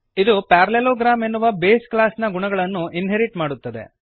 ಇದು ಪ್ಯಾರಲೆಲೋಗ್ರಾಮ್ ಎನ್ನುವ base class ನ ಗುಣಗಳನ್ನು ಇನ್ಹೆರಿಟ್ ಮಾಡುತ್ತದೆ